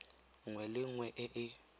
nngwe le nngwe e e